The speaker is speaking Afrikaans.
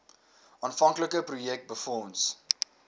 aanvanklike projek befonds